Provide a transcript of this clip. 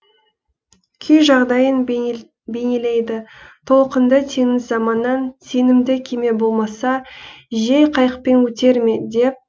күй жағдайын бейнелейді толқынды теңіз заманнан сенімді кеме болмаса жел қайықпен өтер ме деп